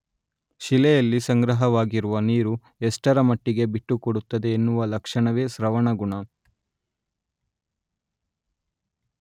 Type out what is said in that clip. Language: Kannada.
ಶಿಲೆಯಲ್ಲಿ ಸಂಗ್ರಹವಾಗಿರುವ ನೀರು ಎಷ್ಟರಮಟ್ಟಿಗೆ ಬಿಟ್ಟುಕೊಡುತ್ತದೆ ಎನ್ನುವ ಲಕ್ಷಣವೇ ಸ್ರವಣಗುಣ.